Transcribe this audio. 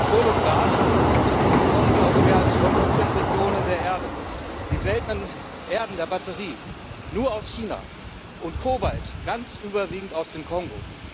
Öl und Gas bekommen wir aus mehr als 15 Regionen der Erde, die Seltenen Erden für Batterien nur aus China und Kobalt ganz überwiegend aus dem Kongo.